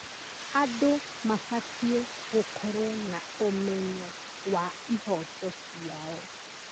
Andũ mabatiĩ gũkorwo na ũmenyo wa ihooto ciao.